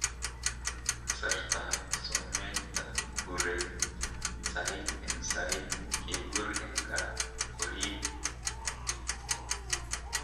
Kasartaab someetab kureet , sayiit en sayiit kibuur en kaa koriib.